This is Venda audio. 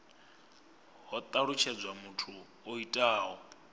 ho talutshedzwa muthu o itaho